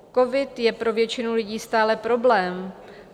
Covid je pro většinu lidí stále problém.